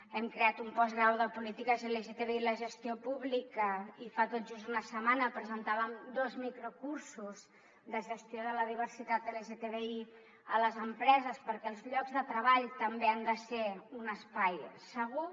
hem creat un postgrau de polítiques lgtbi a la gestió pública i fa tot just una setmana presentàvem dos microcursos de gestió de la diversitat lgtbi a les empreses perquè els llocs de treball també han de ser un espai segur